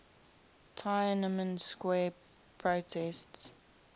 tiananmen square protests